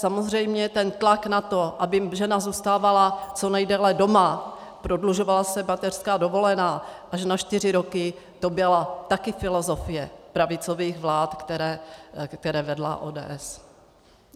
Samozřejmě ten tlak na to, aby žena zůstávala co nejdéle doma, prodlužovala se mateřská dovolená až na čtyři roky, to byla také filozofie pravicových vlád, které vedla ODS.